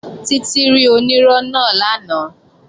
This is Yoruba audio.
Títí rí onírọ́ náà lánàá